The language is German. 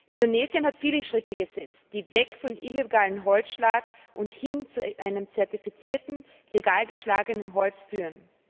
Indonesien hat viele Schritte gesetzt, die weg von illegalem Holzschlag und hin zu einem zertifizierten, legal geschlagenen Holz führen.